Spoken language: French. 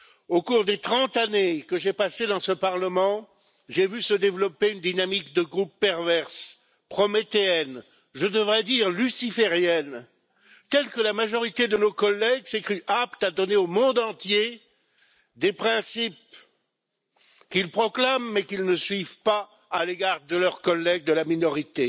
Au cours des 30 années que j'ai passées dans ce Parlement, j'ai vu se développer une dynamique de groupe perverse, prométhéenne, je devrais dire luciférienne, telle que la majorité de nos collègues se sont crus aptes à donner au monde entier des principes qu'ils proclament, mais qu'ils ne suivent pas à l'égard de leurs collègues de la minorité.